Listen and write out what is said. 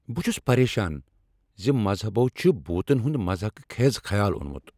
بہٕ چُھس پریشان زِ مذہبو چھ بھوٗتن ہُند مضحکہ خیز خیال اۄنمُت ۔